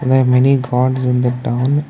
there are many gods in the down.